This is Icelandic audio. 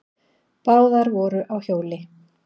Báðar voru á hjóli.